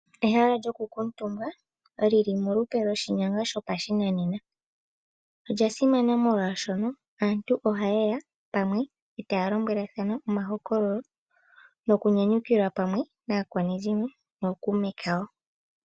Ehala lyoku kuutumba lili molupe lwoshinyanga shopashinanena Olya simana molwaashono aantu ohayeya pamwe e taya lombwelathana omahokololo nokunyanyukilwa pamwe naakwanezimo nookuume kawo.